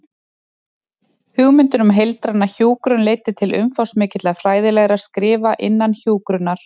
Hugmyndin um heildræna hjúkrun leiddi til umfangsmikilla fræðilegra skrifa innan hjúkrunar.